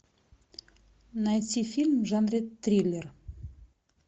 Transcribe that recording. найти фильм в жанре триллер